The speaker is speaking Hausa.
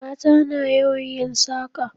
Mata na yawan yin saƙa